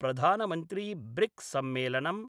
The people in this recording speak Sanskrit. प्रधानमन्त्रीब्रिक्ससम्मेलनम